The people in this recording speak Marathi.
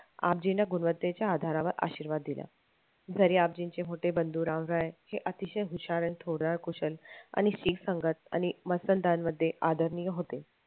गुणवत्तेच्या आधारावर आशीर्वाद दिला. घरी आबजींचे मोठे बंधू राम रॉय हे अतिशय हुशार आणि आणि एक संघात आणि मध्ये आदरणीय होते